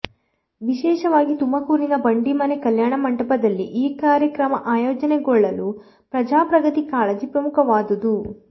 ವಿಶೇಷವಾಗಿ ತುಮಕೂರಿನ ಬಂಡಿಮನೆ ಕಲ್ಯಾಣ ಮಂಟಪದಲ್ಲಿ ಈ ಕಾರ್ಯಕ್ರಮ ಆಯೋಜನೆಗೊಳ್ಳಲು ಪ್ರಜಾಪ್ರಗತಿ ಕಾಳಜಿ ಪ್ರಮುಖವಾದುದು